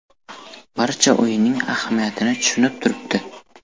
Barcha o‘yinning ahamiyatini tushunib turibdi.